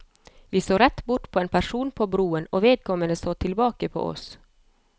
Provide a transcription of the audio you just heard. Vi så rett bort på en person på broen, og vedkommende så tilbake på oss.